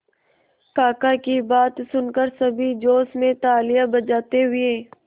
काका की बात सुनकर सभी जोश में तालियां बजाते हुए